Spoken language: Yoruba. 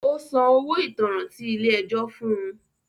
Ó San owo ìtanràn tí ilé ẹjọ́ fún un.